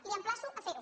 l’emplaço a fer ho